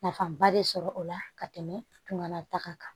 Nafaba de sɔrɔ o la ka tɛmɛ tunga ta kan